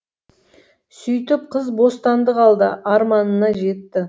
сөйтіп қыз бостандық алды арманына жетті